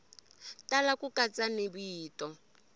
tala ku katsa ni vito